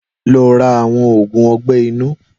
Lọ rà awọn ógún ọgbẹ inu